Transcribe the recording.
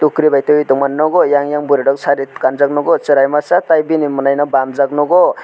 kokeri bai tui tongma nogo eyang eyang borok sari kanjak nogo cherai masa tei bini monai no bamjak nogo.